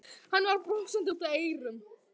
Hann var brosandi út að eyrum.